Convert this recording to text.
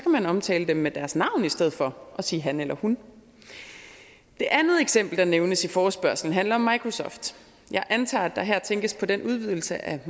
man omtale dem med deres navn i stedet for at sige han eller hun det andet eksempel der nævnes i forespørgslen handler om microsoft jeg antager at der her tænkes på den udvidelse af